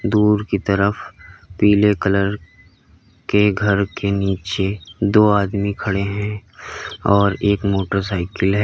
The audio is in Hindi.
दूर की तरफ पीले कलर के घर के नीचे दो आदमी खड़े हैं और एक मोटरसाइकिल है।